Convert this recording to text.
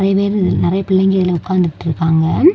நெறைய பிள்ளைங்க இதுல உக்காந்துட்ருக்காங்க.